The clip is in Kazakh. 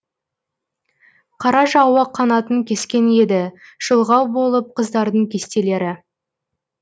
қара жауы қанатын кескен еді шұлғау болып қыздардың кестелері